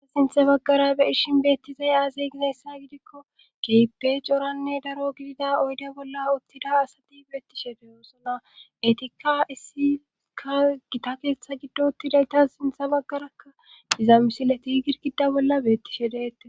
Ha sintha baggara beirshin beettizay aazey gineessa gidikko keepe coranne daro gidida oyde bolla uttida asati beettishe deyoosona etikka issika gita keeththa giddotidayta sintha baggarakka dizaamisileti girgidda bolla beettishe deette